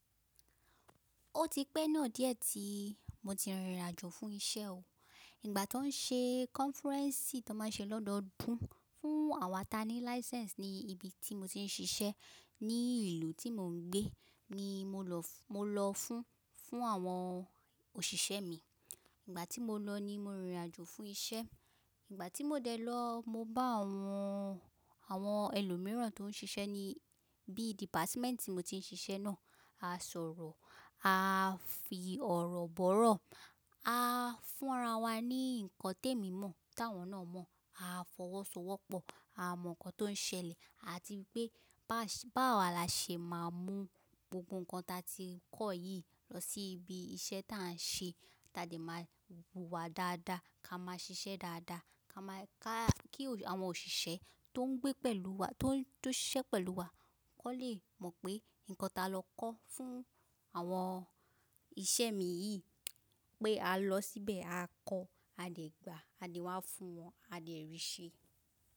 Ó ti pẹ́ náà díẹ̀ tí mo ti rìnrìn àjò fún iṣẹ́ o. Ìgbà tó ń ṣe kọ́nfúrẹ́ǹsì tó má ń ṣe lọ́dọọdún fún àwa ta ní láísẹ́ẹ̀nsì ní ibi tí mo ti ń ṣiṣẹ́ ní ìlú tí mò ń gbé ni mo lọ fún, fún àwọn òṣìṣẹ́ mi. Ìgbà tí mo lọ ni mo rìnrìn àjò fún iṣẹ́. Ìgbà tí mo dẹ́ lọ, mo bá àwọn, àwọn ẹlòmíràn tó ń ṣiṣẹ́ ní bí dìpátímẹ́ǹtì mo ti ń ṣiṣẹ́ náà, a sọ̀rọ̀, a fi ọ̀rọ̀ bọ̀rọ̀, a fúnra wa ní nǹkan tèmi mọ́ táwọn náà mọ̀, a fọwọ́sowọ́pọ̀, a mọ̀ ǹkan tó ń ṣẹlẹ̀ àti pé bá, báwa la ṣe máa mú gbogbo ǹkan ta ti kọ́ yìí lọ sí ibi iṣẹ́ tá a ń ṣe, tàdí máa hùwà dáadáa, ká máa ṣiṣẹ́ dáadáa, ká máa ká kí àwọn òṣìṣẹ́ tó ń gbé pẹ̀lú wa, tó ń ṣiṣẹ́ pẹ̀lú wa kó lè mọ̀ pé nǹkan ta lọ kọ́ fún àwọn iṣẹ́ mi yìí pé a lọ síbẹ̀ a kọ́, a dẹ̀ gbà, a dẹ̀ wá fún wọn, a dẹ̀ rí ṣẹ.